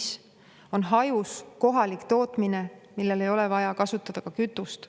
See on hajus, kohalik tootmine, millel ei ole vaja kasutada kütust.